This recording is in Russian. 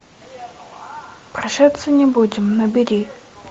прощаться не будем набери